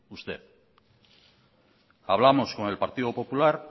usted hablamos con el partido popular